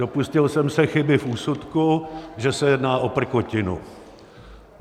Dopustil jsem se chyby v úsudku, že se jedná o prkotinu.